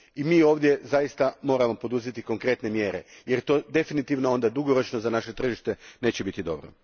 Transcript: I mi ovdje zaista moramo poduzeti konkretne mjere, jer to definitivno onda dugoročno za naše tržite neće biti dobro.